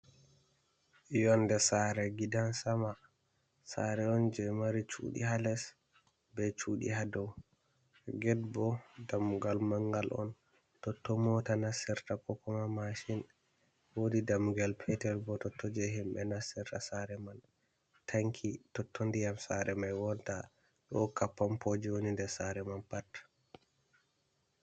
Yonde sare gidan sama sare on je mari cuɗi hales be cuɗi ha dow ged bo damugal mangal on toton mota nasirta kokoma mashin, wodi damugal petel bo to toje himɓe nasirta sare man tanki toton ndiyam sare mai wonta do onata ɗo hokka pampoji woni nder sare man pat.